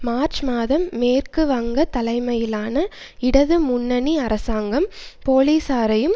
March மாதம் மேற்கு வங்க தலைமையிலான இடது முன்னணி அரசாங்கம் போலீசாரையும்